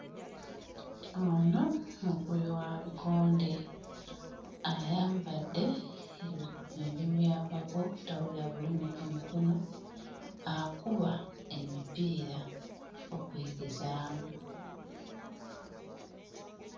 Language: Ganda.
Ono mukubi wa bikonde ayambadde emi ebimuyambako obutawulira bulumi ku mikono akuba emipiira okwegezaamu.